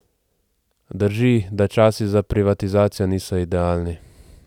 Drži, da časi za privatizacijo niso idealni.